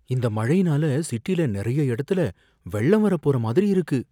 இந்த மழைனால சிட்டியில நறைய இடத்துல வெள்ளம் வரப் போற மாதிரி இருக்கு